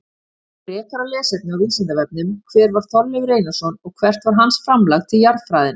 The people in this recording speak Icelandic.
Frekara lesefni á Vísindavefnum: Hver var Þorleifur Einarsson og hvert var hans framlag til jarðfræðinnar?